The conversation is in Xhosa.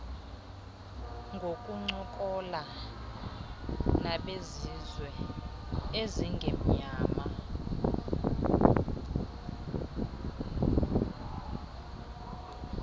ngokuncokola nabezizwe ezingemnyama